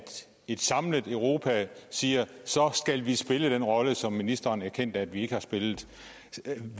et samlet europa siger så skal vi spille den rolle som ministeren erkendte at vi ikke har spillet